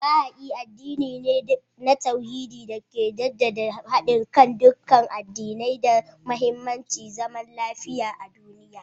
Baha'i addini ne na tauhidi da ke jaddada hadin kan dukkan addinai da muhimmancin zaman lafiya a duniya